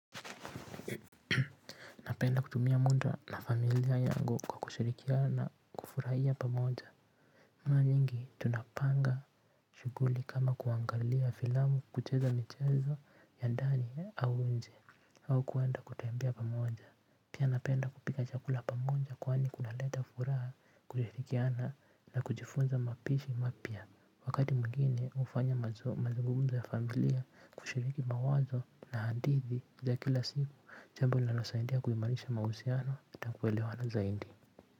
Napenda kutumia muda na familia yangu kwa kushirikiana na kufurahia pamoja. Mara nyingi tunapanga shuguli kama kuangalia filamu kucheza michezo ya ndani au inje au kuenda kutembea pamoja, pia napenda kupika chakula pamoja kwani kunaleta furaha kushirikiana na kujifunza mapishi mapya wakati mgeni hufanya mazungumzo ya familia kushiriki mawazo na hadithi ya kila siku jambo linalosaidia kuimanisha mausiano nakuelewana zaidi.